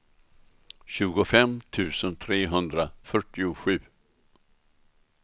tjugofem tusen trehundrafyrtiosju